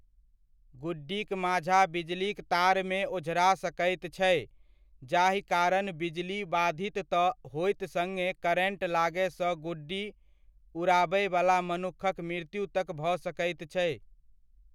गुड्डीक माञ्झा बिजलीक तारमे ओझरा सकैत छै, जाहि कारण बिजली वाधित तऽ होयत सड़्गे करेन्ट लागय सऽ गुड्डी उडा़बयवला मनुक्खक मृत्यु तक भऽ सकैत छै।